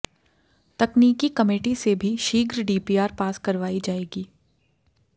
तकनीकी कमेटी से भी शीघ्र डीपीआर पास करवाई जायेगी